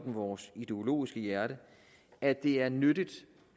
vores ideologiske hjerte at det er nyttigt